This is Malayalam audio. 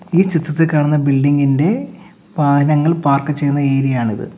ഈ ചിത്രത്തിൽ കാണുന്ന ബിൽഡിംഗ് ഇന്റെ വാഹനങ്ങൾ പാർക്ക് ചെയ്യുന്ന ഏരിയ ആണിത്.